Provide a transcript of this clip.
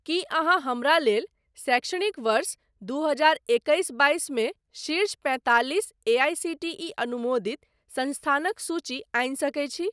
कि अहाँ हमरा लेल शैक्षणिक वर्ष दू हजार एकैस बाइस मे शीर्ष पैंतालिस एआईसीटीई अनुमोदित संस्थानक सूचि आनि सकैत छी ?